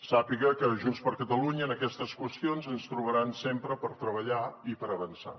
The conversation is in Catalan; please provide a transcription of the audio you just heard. sàpiga que a junts per catalunya en aquestes qüestions ens trobaran sempre per treballar i per avançar